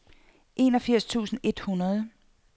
enogfirs tusind et hundrede